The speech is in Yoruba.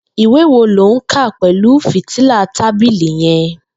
Ìwé wó ló n kà pẹlu fítìlá tàbílí yèn